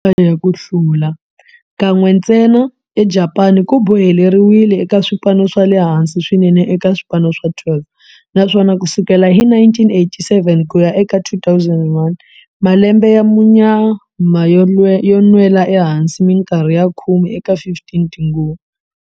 Ku hlula ka ntlhanu wa ligi, xiyimo xa vu 5 eka ligi eka nhlayo ya ku hlula, kan'we ntsena eJapani, ku boheleriwile eka swipano swa le hansi swinene eka swipano swa 12, naswona ku sukela hi 1987 ku ya eka 2001, malembe ya munyama yo nwela ehansi minkarhi ya khume eka 15 tinguva.